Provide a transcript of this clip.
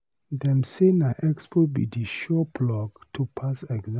Dem say na expo be di sure plug to pass exam.